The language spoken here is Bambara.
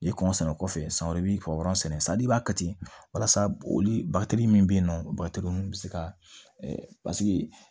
I kɔn sɛnɛ kɔfɛ san wɛrɛ i b'i ka o sɛnɛ san i b'a kɛ ten walasa olu batigi min be yen nɔ minnu bɛ se ka paseke